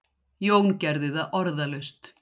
Jón gerði það orðalaust.